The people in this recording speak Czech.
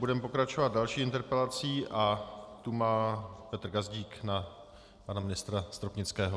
Budeme pokračovat další interpelací a tu má Petr Gazdík na pana ministra Stropnického.